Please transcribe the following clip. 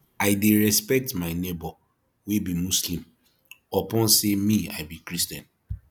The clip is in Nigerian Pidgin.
i dey respect my nebor wey be muslim upon sey me i be christian